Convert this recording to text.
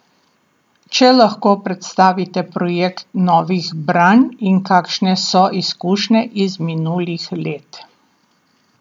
Če lahko predstavite projekt Novih branj in kakšne so izkušnje iz minulih let?